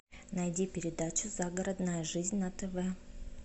найди передачу загородная жизнь на тв